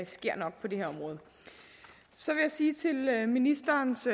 sker nok på det her område så vil jeg sige til ministerens